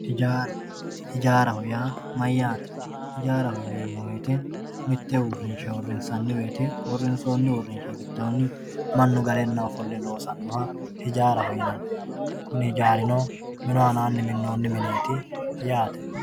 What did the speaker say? EJAARA EJAARAHO YAA MAYAATE ejaaraho yineemo woyite mitte uurinsha uurinshoni urinsha gidooni manu galena hose loosanoha ejaaraho yinani kuni ejaarino minu aanani minooni mineet yaate.